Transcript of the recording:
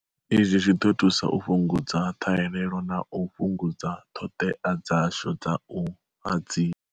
Izwi zwi ḓo thusa u fhungu dza ṱhahelelo na u fhungudza ṱhoḓea dzashu dza u hadzi.